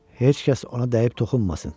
Heç kəs ona dəyib toxunmasın.